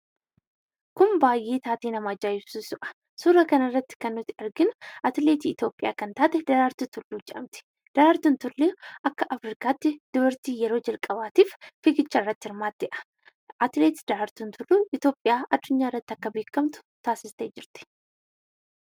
Kun baayyee taatee baay'ee nama ajaa'ibsiisudha. Suuraa kanarratti kan arginu atileetii Itoophiyaa kan taate Daraartuu Tulluu jedhamti. Daraartuun Tulluu yeroo jalqabaatiif akka afrikaatti fiigicha irratti hirmaattedha. Atileet Daraartuun Tulluu Itoophiyaa addunyaarratti waamsiftee jirti.